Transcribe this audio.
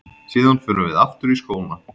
Síðan förum við aftur í skóna.